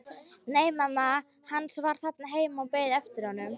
Nei, mamma hans var þarna heima og beið eftir honum.